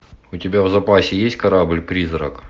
у тебя в запасе есть корабль призрак